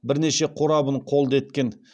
бірнеше қорабын қолды еткен